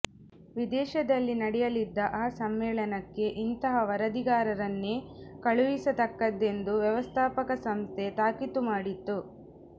ವಿದೇಶದಲ್ಲಿ ನಡೆಯಲಿದ್ದ ಆ ಸಮ್ಮೇಳನಕ್ಕೆ ಇಂಥ ವರದಿಗಾರರನ್ನೇ ಕಳುಹಿಸತಕ್ಕದ್ದೆಂದು ವ್ಯವಸ್ಥಾಪಕ ಸಂಸ್ಥೆ ತಾಕೀತು ಮಾಡಿತ್ತು